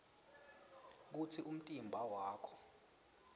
kutsi umtimba wakho